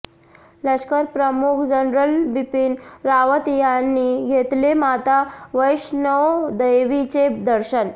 लष्करप्रमुख जनरल बिपिन रावत यांनी घेतले माता वैष्णोदेवीचे दर्शन